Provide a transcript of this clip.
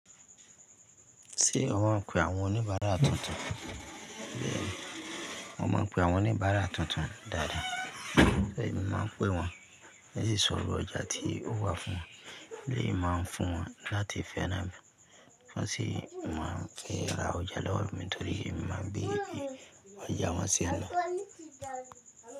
Ṣé wọ́n ń pe àwọn oníbàárà tuntun? Mo máa ń pe àwọn oníbàárà tuntun dáadáa. Gẹ́gẹ́ bí mo máa ń pé wọ́n, ní ìsòro ọjà tí ó wà fún, bí èmi máa ń fún wọn láti fẹ́ran mi, wọ́n sì máa ń rà ọjà lọ́wọ́ mi nítorí èmi máa ń gbé ọjà wọn sí àná.